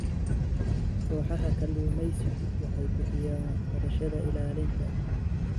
Kooxaha kalluumaysigu waxay bixiyaan waxbarashada ilaalinta.